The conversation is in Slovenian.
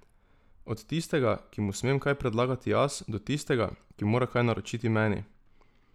Od tistega, ki mu smem kaj predlagati jaz, do tistega, ki mora kaj naročiti meni.